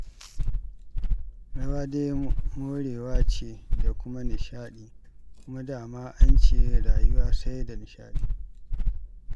Rawa dai morewa ce da kuma nishaɗi, kuma da ma an ce rayuwa sai da nishaɗi.